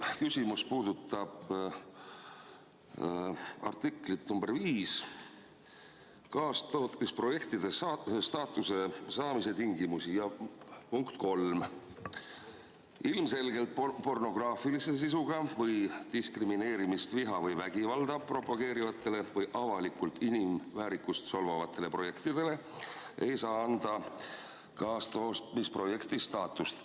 Minu küsimus puudutab artikli nr 5 "Kaastootmisprojekti staatuse saamise tingimused" punkti 3: "Ilmselgelt pornograafilise sisuga või diskrimineerimist, viha või vägivalda propageerivatele või avalikult inimväärikust solvavatele projektidele ei saa anda kaastootmisprojekti staatust.